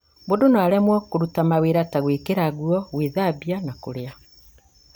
mũndũ no aremwo kũruta mawĩra ta gwĩkĩra nguo, gwĩthamba, na kũrĩa